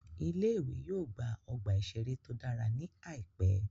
Ilé ìwé yóò gba ọgbà ìṣeré tó dára ní àìpẹ́